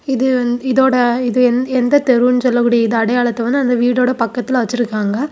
இது இதோட இது எந்த தெருன்னு சொல்லக்கூடிய அடையாளததோட வந்து அந்த வீடோட பக்கத்துல வெச்சிருக்காங்க.